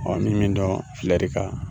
min dɔn filɛri kan.